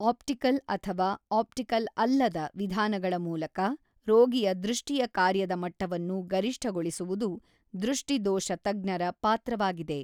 Optical ಅಥವಾ optical ಅಲ್ಲದ ವಿಧಾನಗಳ ಮೂಲಕ ರೋಗಿಯ ದೃಷ್ಟಿಯ ಕಾರ್ಯದ ಮಟ್ಟವನ್ನು ಗರಿಷ್ಠಗೊಳಿಸುವುದು ದೃಷ್ಟಿದೋಷ ತಜ್ಞರ ಪಾತ್ರವಾಗಿದೆ.